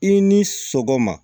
I ni sɔgɔma